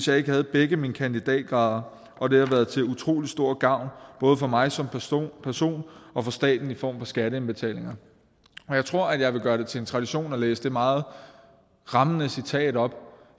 jeg havde begge mine kandidatgrader og det har været til utrolig stor gavn både for mig som person person og for staten i form af skatteindbetalinger jeg tror jeg vil gøre det til en tradition at læse det meget rammende citat op